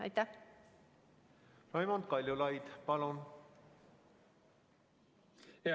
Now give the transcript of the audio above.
Raimond Kaljulaid, palun!